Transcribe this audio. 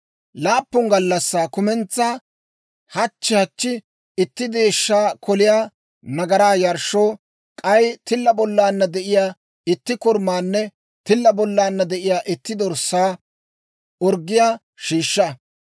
« ‹Laappun gallassaa kumentsaa, hachchi hachchi itti deeshshaa koliyaa nagaraa yarshshoo, k'ay tilla bollaanna de'iyaa itti korumaanne tilla bollaanna de'iyaa itti dorssaa orggiyaa shiishsha.